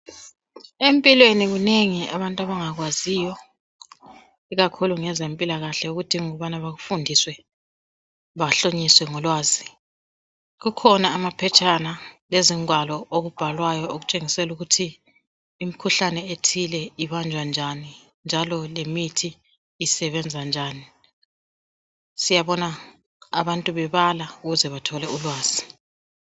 Empilweni kunengi abantu abangakwaziyo abadinga ukubana bakufuniswe mayelana ngezempilakahle ,kukhona amaphetshana lezingwalo ezitshengisa ukubana imikhuhlane ethile ibanjwa njani njalo lemithi isebenza njani ,siyabona abantu bebala ukuze bethole ulwazi.